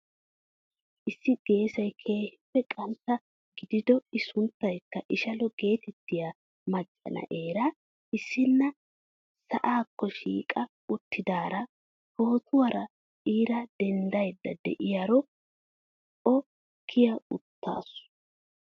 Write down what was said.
I geessay keehippe qantta gidido i sunttayikka ishshalo getettiyaa macca na'eera issina sa'akko shhiqqa uttidaara pootuwaara iira denddayda de'iyaara o kiya uttaasu!